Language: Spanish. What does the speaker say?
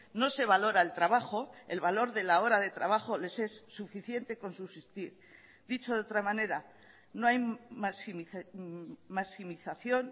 no se valora el trabajo el valor de la hora de trabajo les es suficiente con subsistir dicho de otra manera no hay maximización